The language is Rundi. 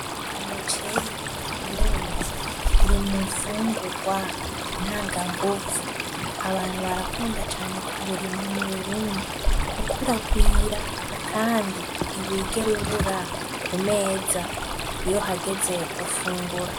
Umuceri urera, uri mu mfungurwa ntanganguvu. Abantu barakunda cane kuwurima mu Burundi kuko uragwira kandi ntiwigera ubura ku meza iyo hageze gufungura.